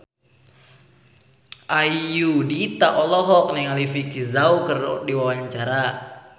Ayudhita olohok ningali Vicki Zao keur diwawancara